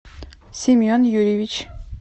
семен юрьевич